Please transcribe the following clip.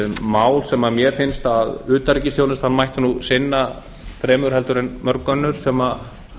mál sem mér finnst að utanríkisþjónustan mætti nú sinna fremur en mörgum öðrum sem